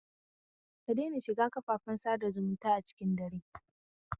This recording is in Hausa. Kadaina shiga kafafen sada zumunta cikin dare.